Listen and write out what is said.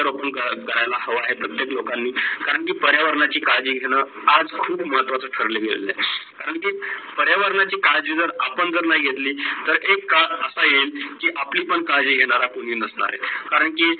रोपण करायला हव्या आहे, प्रत्येक लोकानि करण की पर्यावरणाची काडजी घेणं आज खूप महत्वाची ठरलेलं आहेत. करण की पर्यावरणाची काडजी जर आपण जर नाही घेतली तर एक काढ असा येईल की आपली पण काडजी घेणारा कोणी नाही आहे. करण की